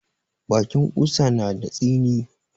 Bakin ƙusa na da tsini.